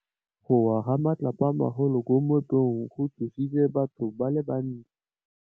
Go wa ga matlapa a magolo ko moepong go tshositse batho ba le bantsi.